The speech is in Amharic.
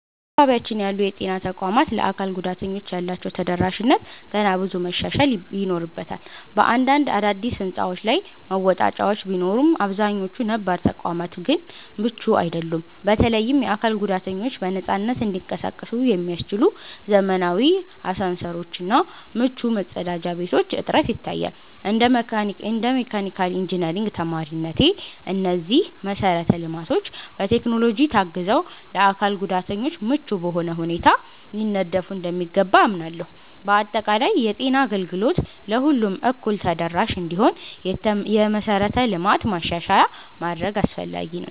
በአካባቢያችን ያሉ የጤና ተቋማት ለአካል ጉዳተኞች ያላቸው ተደራሽነት ገና ብዙ መሻሻል ይኖርበታል። በአንዳንድ አዳዲስ ሕንፃዎች ላይ መወጣጫዎች ቢኖሩም፣ አብዛኛዎቹ ነባር ተቋማት ግን ምቹ አይደሉም። በተለይም የአካል ጉዳተኞች በነፃነት እንዲንቀሳቀሱ የሚያስችሉ ዘመናዊ አሳንሰሮች እና ምቹ መጸዳጃ ቤቶች እጥረት ይታያል። እንደ መካኒካል ኢንጂነሪንግ ተማሪነቴ፣ እነዚህ መሰረተ ልማቶች በቴክኖሎጂ ታግዘው ለአካል ጉዳተኞች ምቹ በሆነ ሁኔታ ሊነደፉ እንደሚገባ አምናለሁ። በአጠቃላይ፣ የጤና አገልግሎት ለሁሉም እኩል ተደራሽ እንዲሆን የመሠረተ ልማት ማሻሻያ ማድረግ አስፈላጊ ነው።